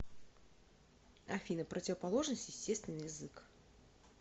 афина противоположность естественный язык